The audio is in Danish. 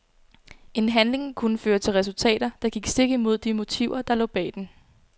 En handling kunne føre til resultater, der gik stik imod de motiver der lå bag den.